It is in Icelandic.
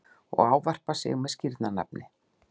að ávarpa sig með skírnarnafni.